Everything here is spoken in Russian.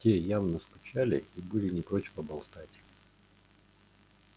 те явно скучали и были не прочь поболтать